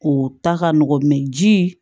O ta ka nɔgɔn ji